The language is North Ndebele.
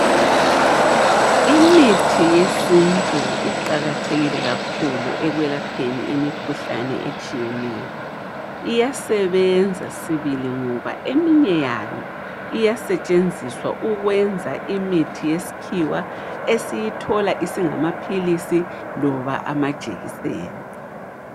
Imithi yesintu iqakathekile kakhulu ekwelapheni imikhuhlane etshiyeneyo. Iyasebenza sibili ngoba eminye yayo iyasetshenziswa ukwenza imithi yesikhiwa esiyithola isingamaphilisi loba amajekiseni.